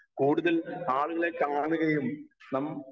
speaker 1 കൂടുതൽ ആളുകളെ കാണുകയും നം